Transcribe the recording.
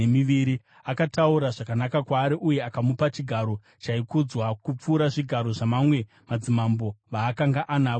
Akataura zvakanaka kwaari uye akamupa chigaro chaikudzwa kupfuura zvigaro zvamamwe madzimambo vaakanga anavo muBhabhironi.